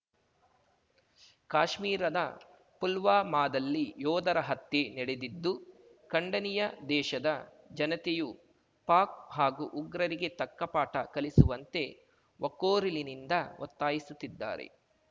ಕಾಶ್ಮೀರದ ಪುಲ್ವಾಮಾದಲ್ಲಿ ಯೋಧರ ಹತ್ಯೆ ನೆಡೆದಿದ್ದು ಖಂಡನೀಯ ದೇಶದ ಜನತೆಯೂ ಪಾಕ್‌ ಹಾಗೂ ಉಗ್ರರಿಗೆ ತಕ್ಕ ಪಾಠ ಕಲಿಸುವಂತೆ ಒಕ್ಕೊರಲಿನಿಂದ ಒತ್ತಾಯಿಸುತ್ತಿದ್ದಾರೆ